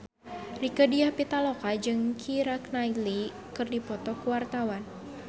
Rieke Diah Pitaloka jeung Keira Knightley keur dipoto ku wartawan